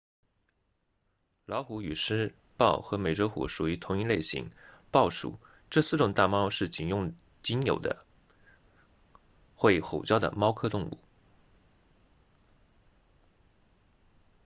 老虎与狮豹和美洲虎属于同一类型豹属这四种大猫是仅有的会吼叫的猫科动物